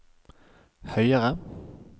høyere